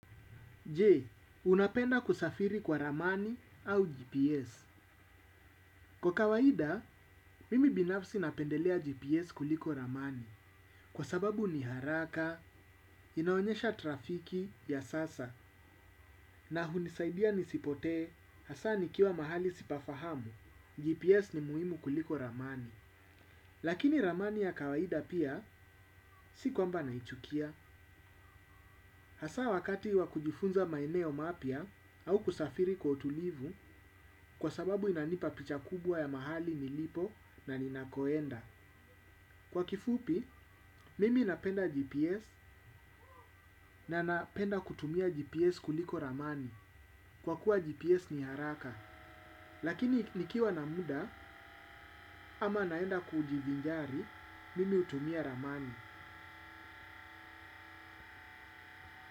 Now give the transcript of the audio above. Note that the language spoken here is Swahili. Je, unapenda kusafiri kwa ramani au GPS. Kwa kawaida, mimi binafsi napendelea GPS kuliko ramani, kwa sababu ni haraka, inaonyesha trafiki ya sasa, na hunisaidia nisipotee, hasa nikiwa mahali sipafahamu, GPS ni muhimu kuliko ramani. Lakini ramani ya kawaida pia, si kwamba naichukia. Hasa wakati wa kujifunza maeneo mapya au kusafiri kwa utulivu kwa sababu inanipa picha kubwa ya mahali nilipo na ninakoenda. Kwa kifupi, mimi napenda GPS na napenda kutumia GPS kuliko ramani. Kwa kuwa GPS ni haraka, lakini nikiwa na muda ama naenda kujivinjari, mimi hutumia ramani.